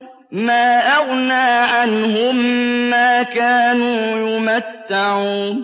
مَا أَغْنَىٰ عَنْهُم مَّا كَانُوا يُمَتَّعُونَ